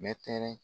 Mɛtɛrɛ